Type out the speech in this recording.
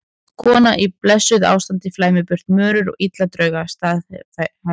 Kona í blessuðu ástandi flæmir burt mörur og illa drauma, staðhæfði hún.